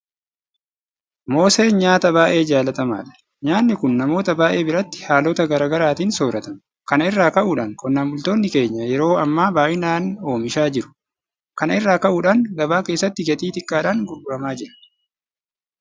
Mooseen nyaata baay'ee jaalatamaadha. Nyaanni kun namoota baay'ee biratti haalota garaa garaatiin soorratama. Kana irraa ka'uudhaan qonnaan bultoonni keenya yeroo ammaa baay'inaan oomishaa jiru. Kana irraa ka'uudhaan gabaa keessatti gatii xiqqaadhaan gurguramaa jiru.